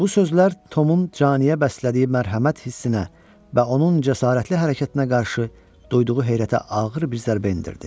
Bu sözlər Tomun caniyə bəslədiyi mərhəmət hissinə və onun cəsarətli hərəkətinə qarşı duyduğu heyrətə ağır bir zərbə endirdi.